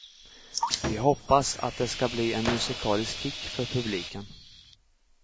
Vi hoppas att det skall bli en musikalisk kick för publiken.